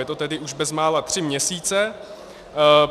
Je to tedy už bezmála tři měsíce.